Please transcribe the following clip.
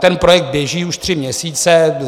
Ten projekt běží už tři měsíce.